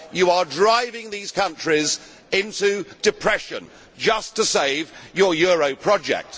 You are driving these countries into depression just to save your euro project.